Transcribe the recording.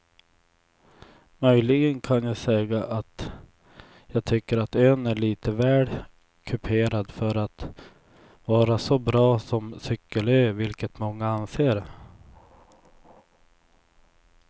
Möjligen kan jag säga att jag tycker att ön är lite väl kuperad för att vara så bra som cykelö vilket många anser.